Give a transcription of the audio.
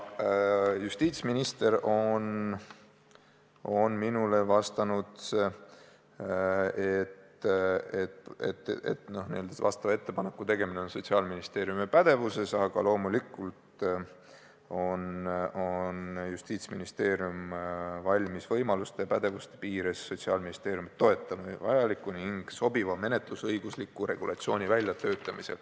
Justiitsminister on minule vastanud, et selle ettepaneku tegemine on Sotsiaalministeeriumi pädevuses, aga loomulikult on Justiitsministeerium valmis võimaluste ja oma pädevuse piires toetama Sotsiaalministeeriumi vajaliku ning sobiva menetlusõigusliku regulatsiooni väljatöötamisel.